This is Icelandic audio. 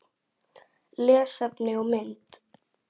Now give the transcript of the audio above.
Lesefni og mynd